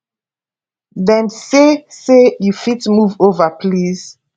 dem say say you fit move ova please